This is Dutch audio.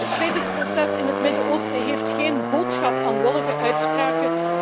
Het vredesproces in het Midden Oosten heeft geen boodschap aan wollige uitspraken.